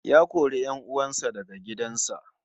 Ya kori 'yan uwan sa daga gidan sa